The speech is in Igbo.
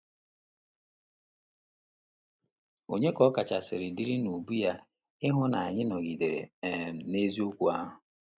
Ònye ka ọ kasị dịrị n’ubu ya ịhụ na anyị nọgidere um n’eziokwu ahụ?